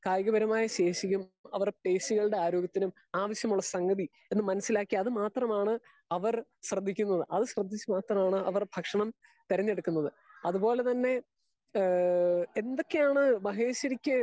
Speaker 2 കായികപരമായ ശേഷിയും അവരുടെ പേഷികളുടെ ആരോഗ്യത്തിനും ആവിശ്യമുള്ള സംഗതി അത് മനസ്സിലാക്കി അത് മാത്രമാണ് അവര് ശ്രെദ്ധിക്കുന്നത് അത് ശ്രെദ്ധിച്ചു ആണ് അവർ ഭക്ഷണം തെരെഞ്ഞെടുക്കുന്നത്. അത് പോലെ തന്നെ ഏഹ് എന്തൊക്കെയാണ് മഹേഷ്വാരിക്കൂ .